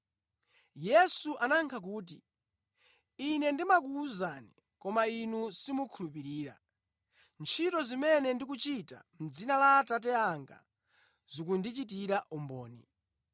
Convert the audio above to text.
Yesu anayankha kuti, “Ine ndimakuwuzani, koma inu simukhulupirira. Ntchito zimene ndikuchita mʼdzina la Atate anga zikundichitira umboni,